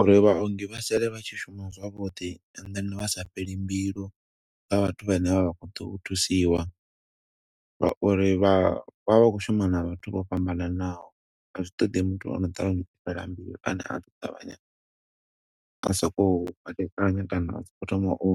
Uri vhaongi vha sale vha tshi shuma zwavhuḓi and then vha sa fheli mbilu kha vhathu vhane vha khou ḓo u thusiwa. Nga uri vha vha vha khou shuma na vhathu vho fhambananaho, a zwi ṱoḓi muthu ono ṱavhanya u fhela mbilu. Ane a ḓo ṱavhanya a sokou kwate-kanya kana a sokou thoma u